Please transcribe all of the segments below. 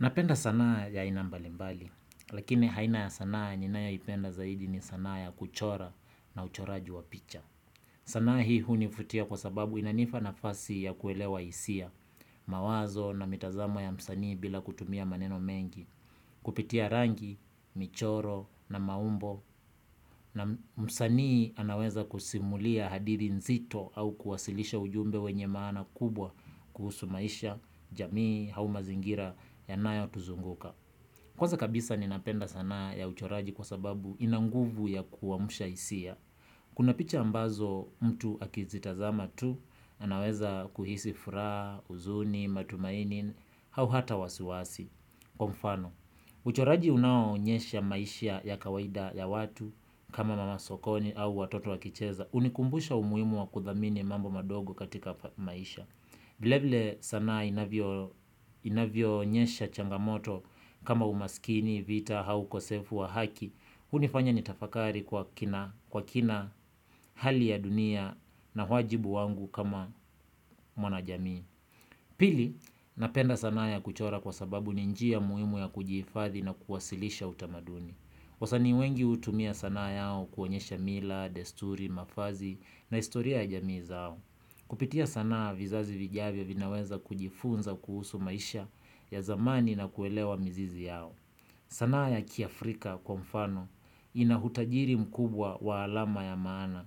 Napenda sanaa ya aina mbalimbali, lakini aina ya sanaa ninayoipenda zaidi ni sanaa ya kuchora na uchoraji wa picha. Sanaa hii hunivutia kwa sababu inanipa nafasi ya kuelewa hisia, mawazo na mitazamo ya msanii bila kutumia maneno mengi, kupitia rangi, michoro na maumbo na msanii anaweza kusimulia hadithi nzito au kuwasilisha ujumbe wenye maana kubwa kuhusu maisha, jamii, au mazingira yanayotuzunguka. Kwanza kabisa ninapenda sanaa ya uchoraji kwa sababu ina nguvu ya kuamsha hisia. Kuna picha ambazo mtu akizitazama tu, anaweza kuhisi furaha, huzuni, matumaini, au hata wasiwasi. Kwa mfano, uchoraji unaoonyesha maisha ya kawaida ya watu, kama mama sokoni au watoto wakicheza, hunikumbusha umuhimu wa kuthamini mambo madogo katika maisha. Vile vile sanaa inavyoonyesha changamoto kama umaskini, vita, au ukosefu wa haki. Hunifanya nitafakari kwa kina, kwa kina, hali ya dunia na wajibu wangu kama mwana jamii. Pili, napenda sanaa ya kuchora kwa sababu ni njia muhimu ya kujihifadhi na kuwasilisha utamaduni. Wasanii wengi hutumia sanaa yao kuonyesha mila, desturi, mavazi na historia ya jamii zao. Kupitia sanaa vizazi vijavyo vinaweza kujifunza kuhusu maisha ya zamani na kuelewa mizizi yao. Sanaa ya kiafrika kwa mfano ina utajiri mkubwa wa alama ya maana.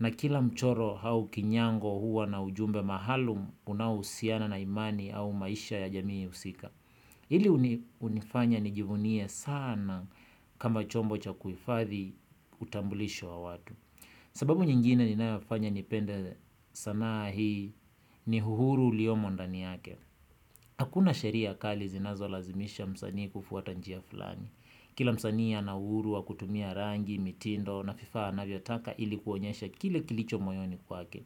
Na kila mchoro au kinyango huwa na ujumbe maalum unaohusiana na imani au maisha ya jamii husika. Hili hunifanya nijivunie sana kama chombo cha kuhifathi utambulisho wa watu. Sababu nyingine ninafanya nipende sanaa hii ni uhuru uliomo ndani yake. Hakuna sheria kali zinazolazimisha msanii kufuata njia fulani. Kila msanii ana uhuru wa kutumia rangi, mitindo na vifaa anavyotaka ili kuonyesha kile kilicho moyoni kwake.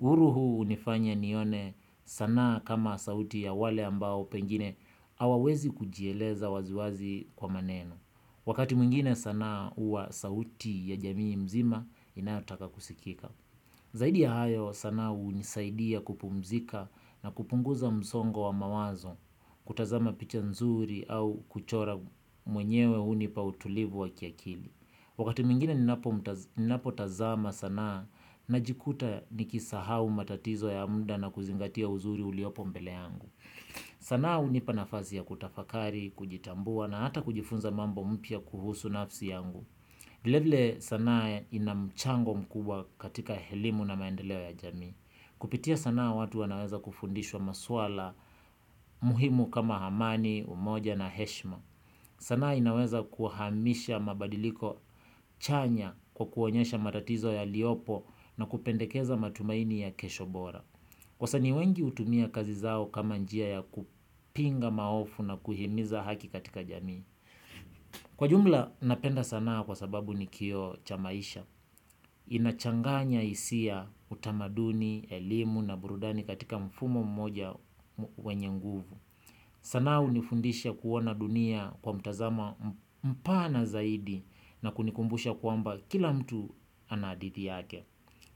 Uhuru huu hunifanya nione sanaa kama sauti ya wale ambao pengine hawawezi kujieleza waziwazi kwa maneno. Wakati mwingine sanaa huwa sauti ya jamii mzima inayotaka kusikika. Zaidi ya hayo sanaa hunisaidia kupumzika na kupunguza msongo wa mawazo kutazama picha nzuri au kuchora mwenyewe hunipa utulivu wa kiakili. Wakati mwingine ninapotazama sanaa najikuta nikisahau matatizo ya muda na kuzingatia uzuri uliopo mbele yangu. Sanaa hunipa nafasi ya kutafakari, kujitambua na hata kujifunza mambo mpya kuhusu nafsi yangu vilevile sanaa ina mchango mkubwa katika elimu na maendeleo ya jamii. Kupitia sanaa watu wanaweza kufundishwa maswala muhimu kama amani, umoja na heshima. Sanaa inaweza kuhamisha mabadiliko chanya kwa kuonyesha matatizo yaliyopo na kupendekeza matumaini ya kesho bora wasanii wengi hutumia kazi zao kama njia ya kupinga maovu na kuhimiza haki katika jamii. Kwa jumla, napenda sanaa kwa sababu ni kioo cha maisha. Inachanganya hisia utamaduni, elimu na burudani katika mfumo mmoja wenye nguvu. Sanaa hunifundisha kuona dunia kwa mtazamo mpana zaidi na kunikumbusha kuamba kila mtu ana hadithi yake.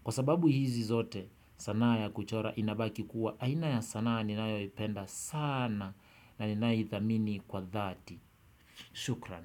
Kwa sababu hizi zote sanaa ya kuchora inabaki kuwa aina ya sanaa ninayoipenda sana na ninaithamini kwa dhati. Shukran.